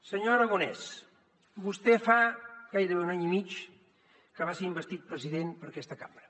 senyor aragonès vostè fa gairebé un any i mig que va ser investit president per aquesta cambra